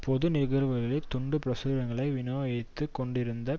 பொது நிகழ்வுகளில் துண்டு பிரசுரங்களை விநியோகித்துக் கொண்டிருந்த